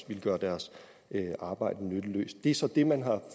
ville gøre deres arbejde nytteløst det er så det man har